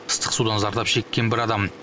ыстық судан зардап шеккен бір адам